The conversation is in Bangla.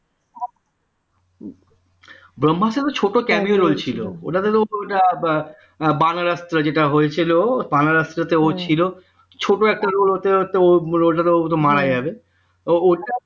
ব্রম্ভাস্ত্র ছোট cameo roll ছিল ওটাতে বা বাংলাতে যেটা হয়েছিল বানারাস ও ছিল ছোট একটা roll হতে হতে ও roll টাতে ও মারা যাবে